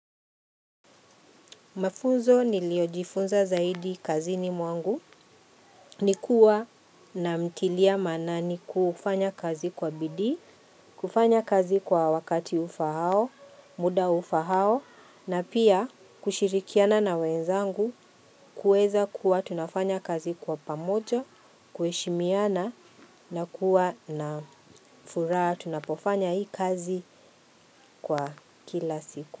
Mafunzo niliyojifunza zaidi kazini mwangu, nikuwa na mtilia maanani kufanya kazi kwa bidii, kufanya kazi kwa wakati ufao, muda ufao, na pia kushirikiana na wenzangu, kuweza kuwa tunafanya kazi kwa pamoja, kuheshimiana na kuwa na furaha, tunapofanya hii kazi kwa kila siku.